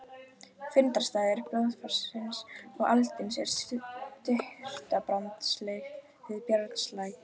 Fundarstaður blaðfarsins og aldinsins er í Surtarbrandsgili við Brjánslæk.